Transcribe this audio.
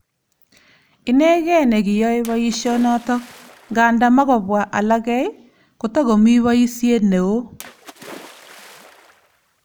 Inegee nekiyae boisionoto, nganda makobwa alage ,kotakomii boisiet neoo."